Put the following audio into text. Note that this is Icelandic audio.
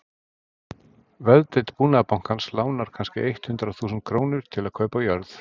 Veðdeild Búnaðarbankans lánar kannske eitt hundrað þúsund krónur til að kaupa jörð.